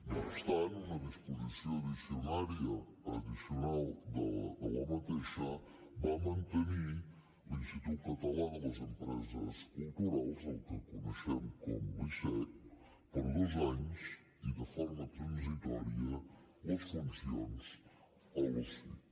no obstant una disposició addicional d’aquesta va mantenir a l’institut català de les empreses culturals el que coneixem com l’icec per dos anys i de forma transitòria les funcions a l’osic